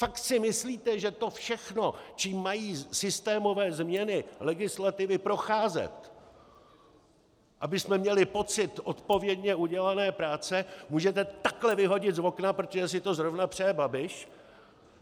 Fakt si myslíte, že to všechno, čím mají systémové změny legislativy procházet, abychom měli pocit odpovědně udělané práce, můžete takhle vyhodit z okna, protože si to zrovna přeje Babiš?